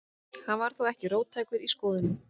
Hann var þó ekki róttækur í skoðunum.